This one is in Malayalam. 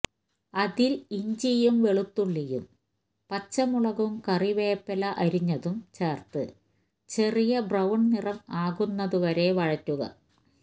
അതിൽ ഇഞ്ചിയും വെളുത്തുള്ളിയും പച്ചമുളകും കറിവേപ്പില അരിഞ്ഞതും ചേർത്ത് ചെറിയ ബ്രൌൺ നിറം ആകുന്നതുവരെ വഴറ്റുക